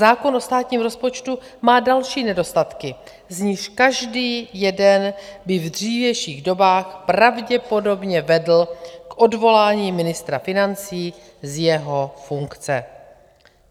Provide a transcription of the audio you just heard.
Zákon o státním rozpočtu má další nedostatky, z nichž každý jeden by v dřívějších dobách pravděpodobně vedl k odvolání ministra financí z jeho funkce.